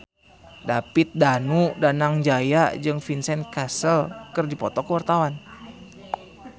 David Danu Danangjaya jeung Vincent Cassel keur dipoto ku wartawan